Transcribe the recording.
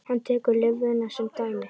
Hann tekur lifrina sem dæmi.